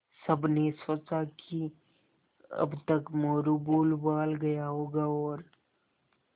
सबने सोचा कि अब तक मोरू भूलभाल गया होगा और